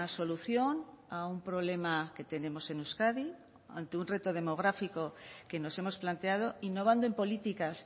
solución a un problema que tenemos en euskadi ante un reto demográfico que nos hemos planteado innovando en políticas